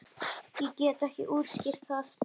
Ég get ekki útskýrt það.